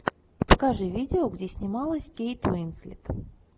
покажи видео где снималась кейт уинслет